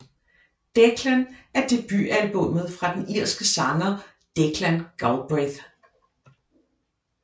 Declan er debutalbummet fra den irske sanger Declan Galbraith